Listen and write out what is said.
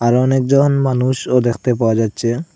আরও অনেকজন মানুষও দেখতে পাওয়া যাচ্ছে।